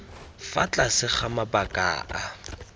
fa tlase ga mabaka a